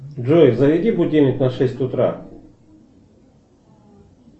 джой заведи будильник на шесть утра